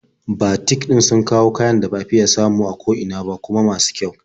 Batik ɗin suna kawo kayan da ba fiya samun su a ko ina ba, kuma masu kyau.